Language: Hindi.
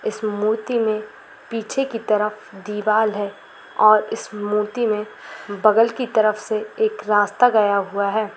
इस मूर्ति में पीछे की तरफ दीवाल है और इस मूर्ति में बगल की तरफ से एक रास्ता गया हुआ हैं ।